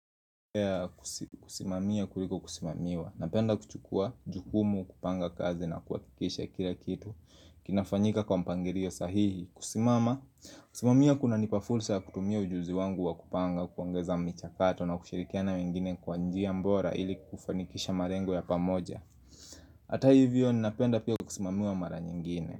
Kusimamia kuliko kusimamiwa. Napenda kuchukua jukumu kupanga kazi na kuhakikisha kila kitu. Kinafanyika kwa mpangilio sahihi. Kusimama. Kusimamia kuna nipafursa kutumia ujuzi wangu wa kupanga kuongeza mchakato na kushirikiana wengine kwa njia bora ili kufanikisha malengo ya pamoja. Hata hivyo ni napenda pia kusimamiwa mara nyingine.